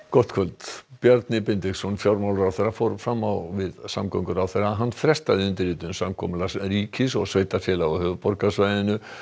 gott kvöld Bjarni Benediktsson fjármálaráðherra fór fram á við samgönguráðherra að hann frestaði undirritun samkomulags ríkis og sveitarfélaga á höfuðborgarsvæðinu